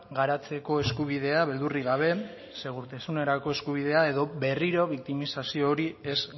garatzeko eskubidea beldurrik gabe segurtasunerako eskubidea edo berriro biktimizazio hori ez